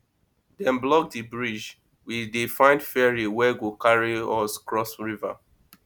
dem block di bridge we dey find ferry wey go carry us cross river